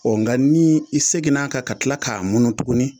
nka ni i seginn'a kan ka tila k'a munu tuguni